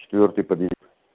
четвёртый подъезд